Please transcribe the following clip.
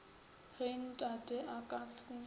ge tate a ka se